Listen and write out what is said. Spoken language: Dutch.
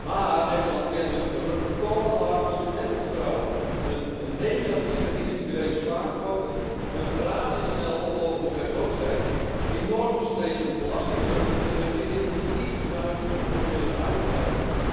Maar Nederland kent een recordlaag consumentenvertrouwen, een negatieve individuele spaarquote, een razendsnel oplopende werkloosheid, enorm gestegen belastingdruk en een regering die niets bezuinigt op onzinnige uitgaven.